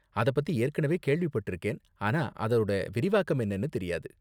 அதப்பத்தி ஏற்கனவே கேள்விப்பட்டிருக்கேன், ஆனா அதோட விரிவாக்கம் என்னனு தெரியாது.